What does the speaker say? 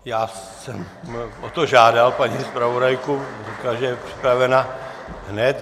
Já jsem o to žádal paní zpravodajku, říkala, že je připravena hned.